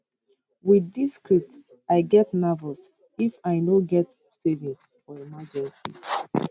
wit dis script i get nervous if i no get savings for emergencies